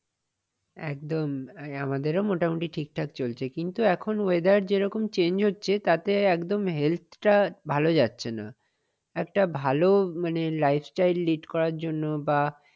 একদম। আমাদেরও মোটামটি ঠিকঠাক চলছে কিন্তু এখন weather যেরকম change হচ্ছে তাতেই একদম health টা ভাল যাচ্ছে না। একটা ভাল মানে lifestyle lead করার জন্য বা